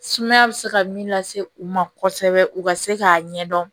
Sumaya bɛ se ka min lase u ma kosɛbɛ u ka se k'a ɲɛdɔn